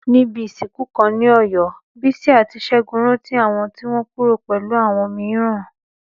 Níbi ìsìnkú kan ní Ọ̀yọ́, Bísí àti Ṣẹ́gun rántí àwọn tí wọ́n kúrò pẹ̀lú àwọn mìíràn.